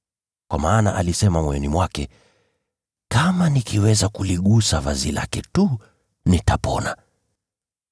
kwa maana alisema moyoni mwake, “Kama nikiweza kuligusa vazi lake tu, nitaponywa.”